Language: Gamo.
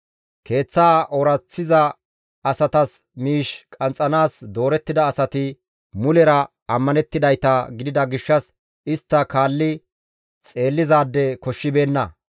Keeththaa ooraththiza asatas miish qanxxanaas doorettida asati mulera ammanettidayta gidida gishshas istta kaalli xeellizaade koshshibeenna.